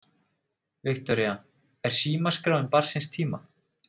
Viktoría: Er símaskráin barn síns tíma?